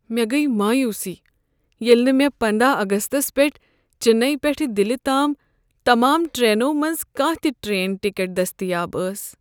مےٚ گیہ مایوٗسی ییٚلہ نہٕ مےٚ پندہَ اگستَس پیٹھ چننے پیٹھٕ دلہ تام تمام ٹرٛیننو منزٕ کانٛہہ تہ ٹرٛین ٹکٹ دٔستیاب ٲس